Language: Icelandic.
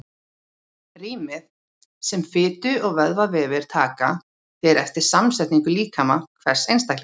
Rýmið sem fitu- og vöðvavefir taka fer eftir samsetningu líkama hvers einstaklings.